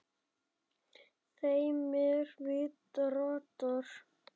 þeim er víða ratar